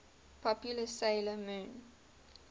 popular 'sailor moon